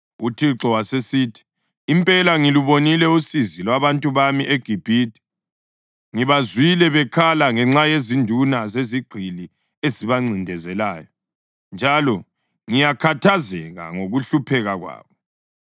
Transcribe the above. UThixo wasesithi, “Impela ngilubonile usizi lwabantu bami eGibhithe. Ngibazwile bekhala ngenxa yezinduna zezigqili ezibancindezelayo, njalo ngiyakhathazeka ngokuhlupheka kwabo.